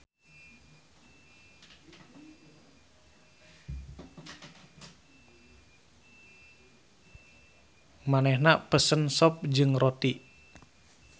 Manehna pesen sop jeung roti.